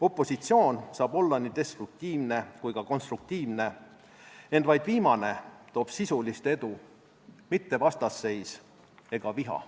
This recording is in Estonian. Opositsioon saab olla nii destruktiivne kui ka konstruktiivne, ent vaid viimane toob sisulist edu, mitte vastasseis ega viha.